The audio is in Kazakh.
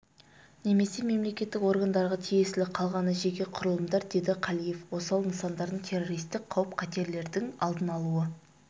немесе мемлекеттік органдарға тиесілі қалғаны жеке құрылымдар деді қалиев осал нысандардың террористік қауіп-қатерлердің алдын алуына